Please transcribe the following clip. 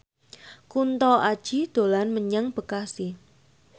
Kunto Aji dolan menyang Bekasi